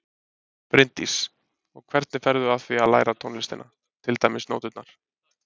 Bryndís: Og hvernig ferðu að því að læra tónlistina, til dæmis nóturnar?